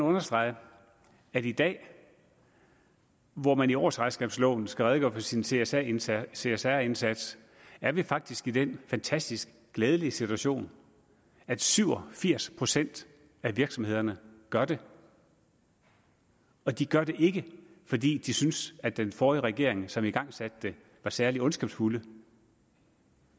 understrege at i dag hvor man i årsregnskabsloven skal redegøre for sin csr indsats csr indsats er vi faktisk i den fantastisk glædelige situation at syv og firs procent af virksomhederne gør det og de gør det ikke fordi de synes at den forrige regering som igangsatte det var særlig ondskabsfuld